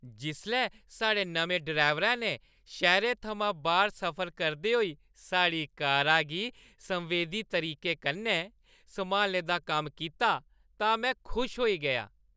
जिसलै साढ़े नमें ड्राइवरै ने शैह्‌रै थमां बाह्‌र सफर करदे होई साढ़ी कारा गी संवेदी तरीके कन्नै सम्हालने दा कम्म कीता तां में खुश होई गेआ।